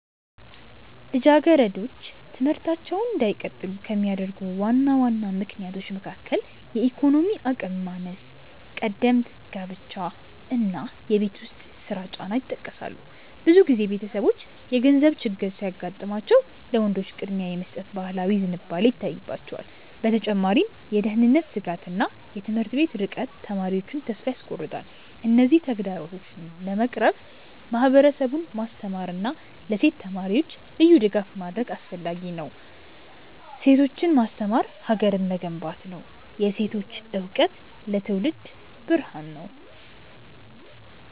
ልጃገረዶች ትምህርታቸውን እንዳይቀጥሉ ከሚያደርጉ ዋና ዋና ምክንያቶች መካከል የኢኮኖሚ አቅም ማነስ፣ ቀደምት ጋብቻ እና የቤት ውስጥ ስራ ጫና ይጠቀሳሉ። ብዙ ጊዜ ቤተሰቦች የገንዘብ ችግር ሲያጋጥማቸው ለወንዶች ቅድሚያ የመስጠት ባህላዊ ዝንባሌ ይታይባቸዋል። በተጨማሪም የደህንነት ስጋትና የትምህርት ቤቶች ርቀት ተማሪዎቹን ተስፋ ያስቆርጣል። እነዚህን ተግዳሮቶች ለመቅረፍ ማህበረሰቡን ማስተማርና ለሴት ተማሪዎች ልዩ ድጋፍ ማድረግ አስፈላጊ ነው። ሴቶችን ማስተማር ሀገርን መገንባት ነው። የሴቶች እውቀት ለትውልድ ብርሃን ነው።